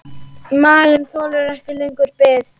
Maginn þolir ekki lengur bið.